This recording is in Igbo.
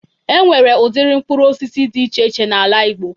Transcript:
E nwere udiri mkpụrụ osisi dị iche iche n'ala igbo